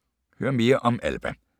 Hør mere om Alba